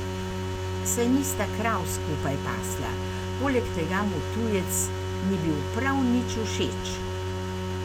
Saj nista krav skupaj pasla, poleg tega mu tujec ni bil prav nič všeč.